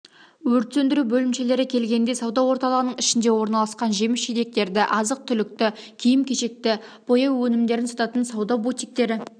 өрт сөндіру бөлімшелері келгенде сауда орталығының ішінде орналасқан жеміс-жидектерді азық-түлікті киім-кешекті бояу өнімдерін сататын сауда бутиктері